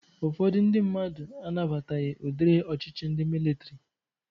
Ụfọdụ ndị mmadụ anabataghị udiri ọchịchị ndị militri